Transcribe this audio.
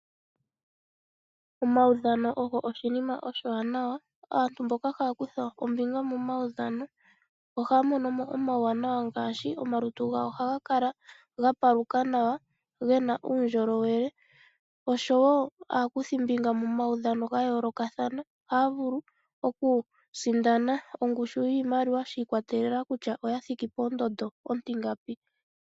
Omaudhano ogo oshinima oshiwanawa. Aantu mboka haya kutha ombinga momaudhano ohaya mono mo uuwanawa owundji oshoka omalutu gawo ohaga kala gapaluka nawa. Oshowo aakuthimbinga momaudha onohaya sindana wo iimaliwa shi ikwatelela kutya oya thiki ponomola ontingapi.